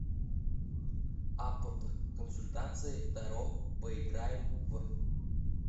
апп консультации таро поиграем в